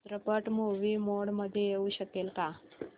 चित्रपट movie mode मध्ये येऊ शकेल का